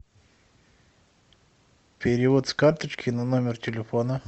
перевод с карточки на номер телефона